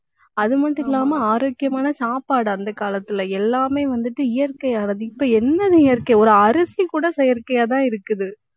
அது மட்டும் இல்லாம ஆரோக்கியமான சாப்பாடு, அந்தக் காலத்துல எல்லாமே வந்துட்டு இயற்கையானது. இப்ப என்னது இயற்கை ஒரு அரிசி கூட செயற்கையாதான் இருக்குது